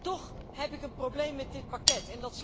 Toch heb ik een probleem met dit pakket.